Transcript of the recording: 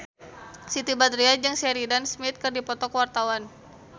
Siti Badriah jeung Sheridan Smith keur dipoto ku wartawan